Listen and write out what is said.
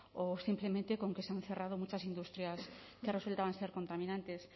o simplemente con que se han cerrado muchas industrias que resultaban ser contaminantes